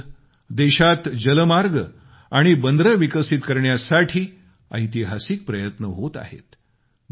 आज देशात जलमार्ग आणि बंदरे विकसित करण्यासाठी ऐतिहासिक प्रयत्न होत आहेत